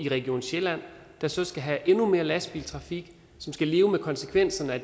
region sjælland der så skal have endnu mere lastbiltrafik og som skal leve med konsekvenserne af